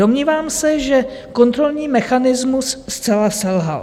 Domnívám se, že kontrolní mechanismus zcela selhal.